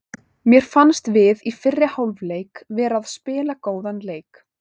Mér fannst við í fyrri hálfleik vera að spila góðan leik.